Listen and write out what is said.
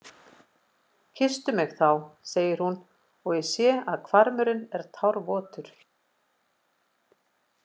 Kysstu mig þá, segir hún og ég sé að hvarmurinn er tárvotur.